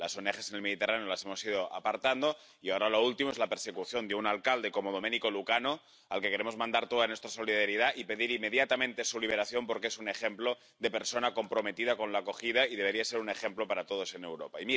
A las ONG en el Mediterráneo las hemos ido apartando y ahora lo último es la persecución de un alcalde como Domenico Lucano, al que queremos mandar toda nuestra solidaridad y para el que pedimos su liberación inmediata, porque es un ejemplo de persona comprometida con la acogida y debería ser un ejemplo para todos en Europa.